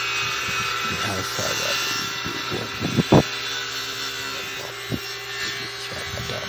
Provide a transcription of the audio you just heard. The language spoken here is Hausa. Na saba da yin dogon hutu a ƙarshen mako domin shaƙatawa.